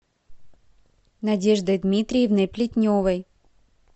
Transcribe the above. надеждой дмитриевной плетневой